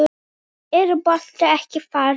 Er boltinn ekki þarna?